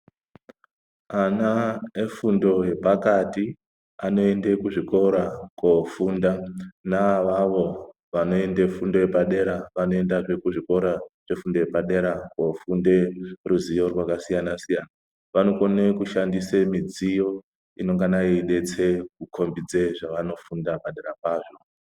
Ana efundo yepakati anoende kuzvikora kofunda. Ana avavo vanoende fundo yepadera, vanoende kuzvikora zvefundo yepadera kofunde ruzivo rwakasiyana-siyana kuti vakone kushandise midziyo, inongana yeidetsere kukhombidza zvavanofunda padera pazvo.